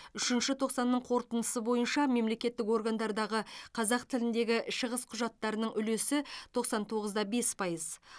үшінші тоқсан қорытындысы бойынша мемлекеттік органдардағы қазақ тіліндегі шығыс құжаттарының үлесі тоқсан тоғыз да бес пайыз